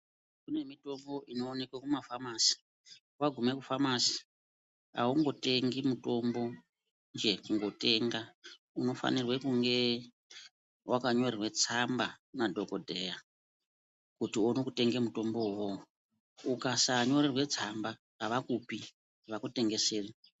Kune mitombo inoonekwe kumafamasi. Wagume kufamasi aungotengi mutombo njee kungotenga, unofanirwe kunge wakanyorerwe tsamba nemadhokodheya kuti uone kutenga mutombo wona iwowo. Ukasanyorerwe tsamba avakupi, avakutengeseri.